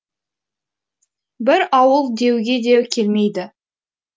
бір ауыл деуге де келмейді